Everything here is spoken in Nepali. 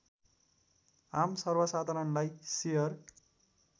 आम सर्वसाधारणलाई सेयर